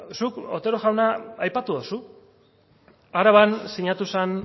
zuk otero jauna aipatu dozu araban sinatu zen